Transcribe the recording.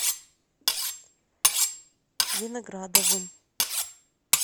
виноградовым